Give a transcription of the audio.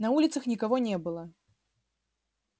на улицах никого не было